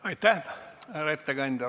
Aitäh, härra ettekandja!